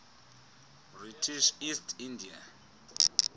british east india